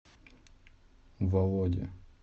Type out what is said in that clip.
володи